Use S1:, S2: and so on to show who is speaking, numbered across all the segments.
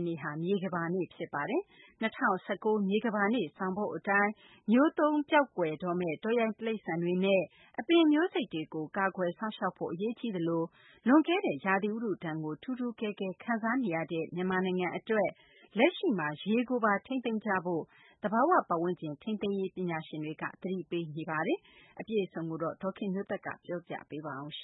S1: ်နေ့ဟာ မြေကမ္ဘာနေ့ ဖြစ်ပါတယ်။ ၂၀၁၉ မြေကမ္ဘာနေ့ ဆောင်ပုဒ်အတိုင်း မျိုးတုံးကွယ်ပျောက်တော့မယ့် တောရိုင်း တိရိစ္ဆာန်တွေနဲ့ အပင်မျိုးစိတ်တွေကို ကာကွယ်စောင့်ရှောက်ဖို့ အရေးကြီးသလို လွန်ကဲတဲ့ ဥတုရာသီဒဏ်ကို ထူးထူးကဲကဲ ခံစားနေရတဲ့ မြန်မာနိုင်ငံအတွက် လက်ရှိမှာ ရေကိုပါ ထိန်းသိမ်းကြဖို့ သဘာဝဝန်းကျင် ထိန်းသိမ်းရေးပညာရှင် တွေက သတိပေးနေပါတယ်။ အပြည့်အစုံကို ဒေါ်ခင်မျိုးသက်က ပြောပြပေးမှာပါ။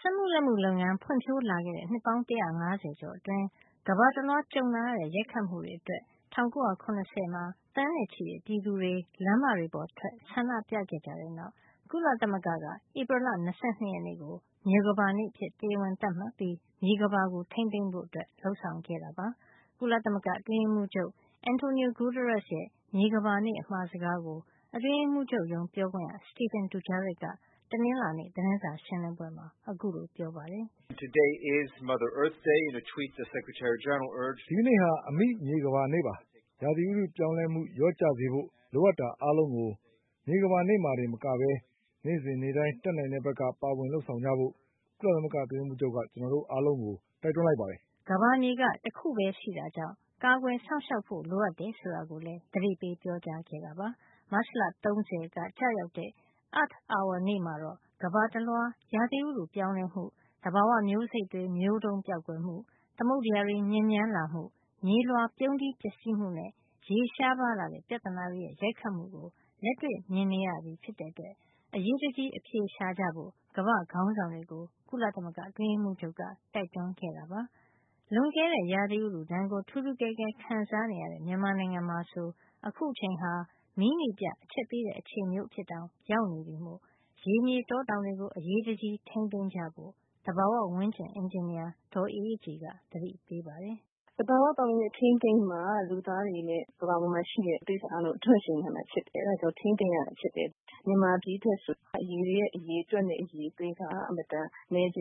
S1: စက်မှုလက်မှုလုပ်ငန်း ဖွံ့ဖြိုးလာခဲ့တဲ့ နှစ်ပေါင်း ၁၅၀ ကျော်အတွင်း ကမ္ဘာတလွှားကြုံလာရတဲ့ ရိုက်ခတ်မှုတွေအတွက် ၁၉၇၀ မှာ သန်းနဲ့ချီတဲ့ ပြည်သူတွေ လမ်းမတွေပေါ်ထွက် ဆန္ဒပြခဲ့ကြတဲ့နောက် ကုလသမဂ္ဂက ဧပြီလ ၂၂ ရက်နေ့ကို မြေကမ္ဘာနေ့အဖြစ် တရားဝင် သတ်မှတ်ပြီး မြေကမ္ဘာထိန်းသိမ်းဖို့ လုပ်ဆောင်ခဲ့တာပါ။ ကုလသမဂ္ဂအတွင်းရေးမှုးချုပ် António Guterres ရဲ့ မြေကမ္ဘာနေ့အမှာစကားကို အတွင်းရေးမှူးချုပ်ရုံး ပြောခွင့်ရ Stephane Dujarric က တနင်္လာနေ့ သတင်းစာရှင်းလင်းပွဲမှာ ခုလိုပြောပါတယ်
S2: ။ “ဒီကန
S1: ေ့ဟာ အမိ - မြေကမ္ဘာနေ့ပါ။ ဥတုရာသီ ပြောင်းလဲမှုလျော့ကျစေဖို့ လိုအပ်တာအားလုံးကို မြေကမ္ဘာနေ့မှာတင် မကပဲ နေ့စဉ်နေ့တိုင်း တတ်နိုင်တဲ့ဘက်က ပါဝင်လုပ်ဆောင်ကြဖို့ ကုလမဂ္ဂအတွင်းရေးမှူးချုပ်က ကျနော်တို့ အားလုံးကို တိုက်တွန်းလိုက်ပါတယ်။” ကမ္ဘာမြေက တခုပဲရှိတာကြောင့် ကာကွယ်စောင့်ရှောက်ဖို့ လိုအပ်တယ်ဆိုတာကိုလည်း သတိပေးပြောကြားခဲ့တာပါ။ မတ်လ ၃၀ ရက်နေ့က ကျရောက်တဲ့ Earth hour နေ့မှာတော့ ကမ္ဘာတလွှား ဥတုရာသီ ပြောင်းလဲမှု၊ သဘာဝမျိုးစိတ်တွေ မျိုးတုံးပျောက်ကွယ်မှု၊ သမုဒ္ဒရာ ညစ်ညမ်းလာမှု၊ မြေလွှာပြုန်းတီးပျက်စီးမှုနဲ့ ရေရှားလာတဲ့ ပြဿနာတွေရဲ့ ရိုက်ခတ်မှုကို လက်တွေ့ မြင်နေရပြီ ဖြစ်တဲ့အတွက် အရေးတကြီး အဖြေရှာကြဖို့ ကမ္ဘာ့ခေါင်းဆောင်တွေကို ကုလသမဂ္ဂအတွင်းရေးမှူးချုပ်က တိုက်တွန်းခဲ့တာပါ။ လွန်ကဲတဲ့ ဥတုရာသီဒဏ်ကို ထူးထူးကဲကဲ ခံစားနေရတဲ့ မြန်မာနိုင်ငံမှာဆို အခုအချိန်ဟာ မီးနီပြ အချက်ပေးတဲ့ အချိန်မျိုး ရောက်နေပြီမို့ ရေ မြေတောတောင် တွေကို အရေးတကြီး ထိန်းသိမ်းကြဖို့ သဘာဝဝန်းကျင် အင်ဂျင်နီယာ ဒေါ်အေးအေးကြည်က သတိပေးပါတယ်
S2: ။ “သဘာဝ ပတ်ဝန်းကျင်ထိန်းသိမ်းမှ လူသားတွေနဲ့ ကမ္ဘာပေါ်မှာ ရှိတဲ့ တိရိစ္ဆာန်တွေအားလုံး အဓွန့်ရှည် နိုင်မယ်။ အဲဒါကြောင့် ထိန်းသိမ်းရတာဖြစ်တယ်။ မြန်မာပြည်အတွက်ဆိုရင် ရေရဲ့ အရေအတွက်နဲ့ အရည်အသွေးက အင်မတန်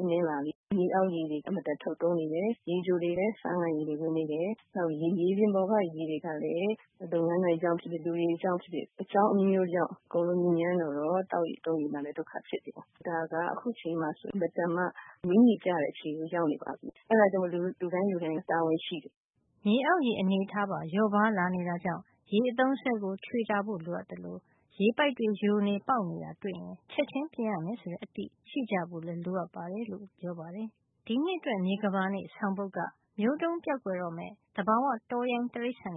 S2: နည်းလာပြီ။ မြေအောက်ရေတွေ လည်း အင်မတန်ထုတ်သုံးနေတယ်။ ရေချိုရေတွေမှာလည်း ဆားငန်ရေတွေ ဝင်နေတယ်။ နောက်ပြီး မြေပြင်ပေါ်က ရေတွေကလည်း လုပ်ငန်းကြောင့်ဖြစ်ဖြစ်၊ လူတွေကြောင့်ဖြစ်ဖြစ် အကြောင်းအမျိုးမျိုးကြောင့် အားလုံးညစ်ညမ်းတော့ သောက်ရေသုံးရေမှာလည်း ဒုက္ခဖြစ်တယ်။ ဒါက အခုအချိန်မှာဆိုရင် အင်မတန်မှ မီးနီပြတဲ့ အခြေအနေရောက်နေပါပြီ။ အဲဒါကြောင့်မို့လို့ လူတိုင်းလူတိုင်း တာဝန်ရှိပါတယ်။” မြေ
S1: အောက်ရေပါ လျော့ပါးလာနေတာကြောင့် ရေအသုံးအစွဲကို ခြွေတာဖို့လိုသလို ရေပိုက်တွေယိုနေ ပေါက်နေတာတွေ့ရင် ချက်ချင်းပြင်ရမယ်ဆိုတဲ့ အသိရှိဖို့လည်း လိုအပ်တယ်လို့ ပြောပါတယ်။ ဒီနှစ်အတွက် မြေကမ္ဘာနေ့ဆောင်ပုဒ်က မျိုးတုန်းပျောက်ကွယ်မယ့် တောရိုင်းတိရိစ္တာန်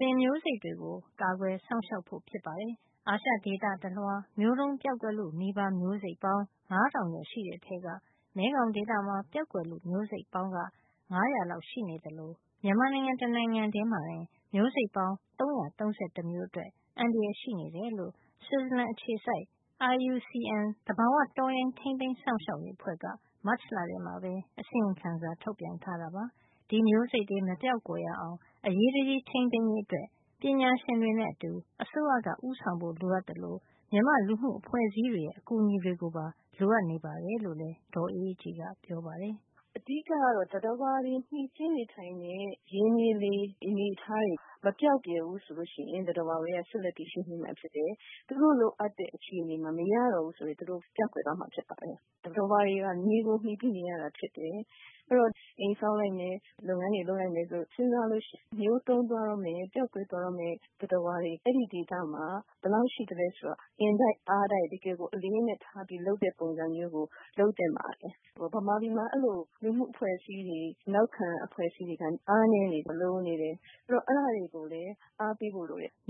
S1: တွေနဲ့ သဘောဝမျိုးစိတ်တွေကို ကာကွယ်စောင့်ရှောက်ဖို့ ဖြစ်ပါတယ်။ အာရှဒေသ တလွှား မျိုးတုန်း ပျောက်ကွယ်လုနီး မျိုးစိတ်ပေါင်း ၅ ထောင်ကျော်ရှိတဲ့ ထဲက မဲခေါင်ဒေသမှာ ပျောက်ကွယ်လု မျိုးစိတ်ပေါင်း ၅၀၀ လောက် ရှိနေသလို မြန်မာနိုင်ငံ တနိုင်ငံထဲမှာတင် မျိုးစိတ်ပေါင်း ၃၃၁ အတွက် အန္တရာယ်ရှိနေတယ်လို့ ဆွစ်ဇာလန်အခြေစိုက် IUCN သဘာဝ တော်ရိုင်း ထိန်းသိမ်းစောင့်ရှောက်ရေးအဖွဲ့က မတ်လ ထဲမှာ အစီရင်ခံစာ ထုတ်ပြန်ထားတာပါ။ ဒီမျိုးစိတ်တွေ မပျောက်ကွယ်အောင် အရေးတကြီး ထိန်းသိမ်းရေး အတွက် ပညာရှင်တွေနဲ့ အတူ အစိုးရက ဦးဆောင်ဖို့ လိုအပ်သလို မြန်မာ့ လူမှုအဖွဲ့အစည်း တွေရဲ့ အကူအညီတွေပါ လိုအပ်တယ်လို့ လည်း ဒေါ်အေးအေးကြည်က ပြောပါတယ်။
S2: “အဓိကက သတ္တဝါတွေမှီတင်းနေထိုင်တဲ့ ရေ၊ မြေ၊ လေ အနေအထားတွေ မပျောက်ပြယ်ဘူးဆိုရင် သတ္တဝါတွေ ဆက်လက်တည်ရှိနေမှာဖြစ်တယ်။ သူတို့လိုအပ်တဲ့အခြေအနေမှာ မရတော့ဘူးဆိုရင် သူတို့ ပျောက်ကွယ်သွားမှာဖြစ်ပါတယ်။ သတ္တဝါတွေဟာ မြေကို မှီပြီးနေရတာဖြစ်တယ်၊ အဲဒီတော့ အိမ်ဆောက်လိုက်မယ်၊ လုပ်ငန်းတွေ လုပ်လိုက်မယ်လို့ စဉ်းစားလိုက်ရင် မျိုးတုံးတော့မယ့် ပျောက်ကွယ်သွားတော့မယ့် သတ္တဝါတွေ အဲဒီဒေသမှာ ဘယ်လောက်ရှိသလဲဆိုတာ အင်တိုက်အားတိုက် တကယ်ကို အလေးအနက်ထားပြီးတော့ လုပ်တဲ့ပုံစံမျိုး လုပ်သင့်ပါတယ်။ မြန်မာပြည်မှာ အဲလို လူမှုအဖွဲ့အစည်းတွေ နောက်ခံအဖွဲ့အစည်းတွေက အားနည်းနေတယ် လိုနေတယ် အဲဒီတော့ အဲဒါတွေကိုလည်း အားပေးဖို့လိုတယ်။”